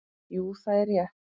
Jú, það er rétt.